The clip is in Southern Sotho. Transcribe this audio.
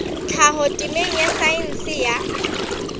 tlhaho temeng ya saense ya